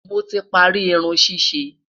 moti parí Irun ṣiṣe